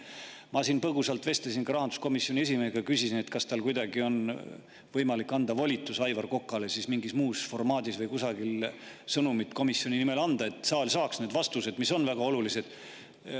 Ma põgusalt vestlesin ka rahanduskomisjoni esimehega, küsisin, kas tal on kuidagi võimalik anda volitus Aivar Kokale mingis muus formaadis või anda sõnum komisjoni nimel, et saal saaks need vastused, mis on väga olulised.